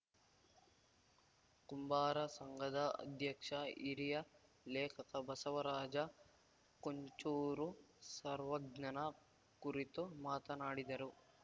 ಕುಂಬಾರ ಸಂಘದ ಅಧ್ಯಕ್ಷ ಹಿರಿಯ ಲೇಖಕ ಬಸವರಾಜ ಕುಂಚೂರು ಸರ್ವಜ್ಞನ ಕುರಿತು ಮಾತನಾಡಿದರು